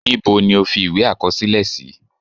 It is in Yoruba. Níbo ni o fi ìwé àkọsílẹ sí?